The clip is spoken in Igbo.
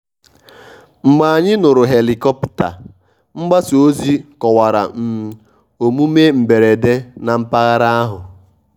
mgbe anyị nụrụ helikọpta mgbasa ozi kọwara um omume mberede na mpaghara ahụ.